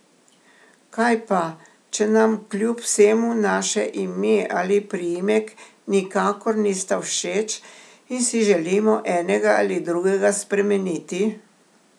Kaj pa, če nam kljub vsemu naše ime ali priimek nikakor nista všeč in si želimo enega ali drugega spremeniti?